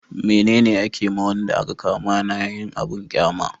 mene ne a ke ma wanda a ka kama na yin abun ƙyama?